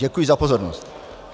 Děkuji za pozornost.